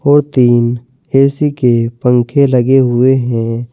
ओर तीन ए_सी के पंखे लगे हुए हैं।